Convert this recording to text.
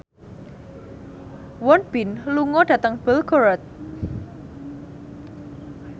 Won Bin lunga dhateng Belgorod